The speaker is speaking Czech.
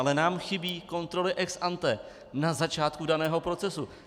Ale nám chybí kontroly ex ante na začátku daného procesu.